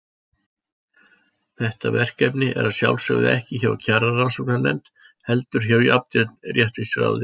Þetta verkefni er að sjálfsögðu ekki hjá Kjararannsóknarnefnd, heldur hjá Jafnréttisráði.